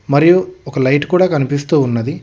మరియు ఒక లైట్ కూడా కనిపిస్తూ ఉన్నది.